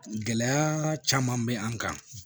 Gɛlɛya caman bɛ an kan